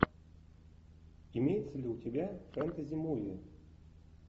имеется ли у тебя фэнтези муви